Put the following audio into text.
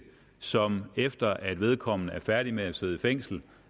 som efter at vedkommende er færdig med at sidde i fængsel